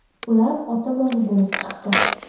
Ular ota-bola bo‘lib chiqdi.